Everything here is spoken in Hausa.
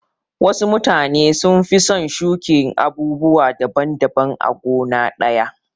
Wasu mutane sun fi son shuƙin abubuwa daban daban a gona ɗaya.